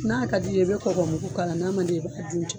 N'a ka di ye i be kɔkɔ mugu k'a la, n'a man di ye i b'a dun ten.